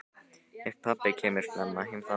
Ef pabbi kemur snemma heim þá.